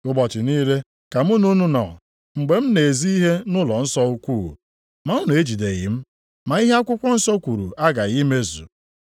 Ụbọchị niile ka mụ na unu nọ mgbe m na-ezi ihe nʼụlọnsọ ukwu, ma unu ejideghị m. Ma ihe akwụkwọ nsọ kwuru aghaghị imezu.”